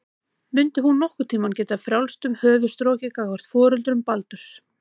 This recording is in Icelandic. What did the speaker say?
Mundi hún nokkurn tíma geta um frjálst höfuð strokið gagnvart foreldrum Baldurs?